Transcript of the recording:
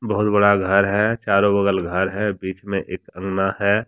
बहुत बड़ा घर है चारों बगल घर है बीच में एक अंगना है।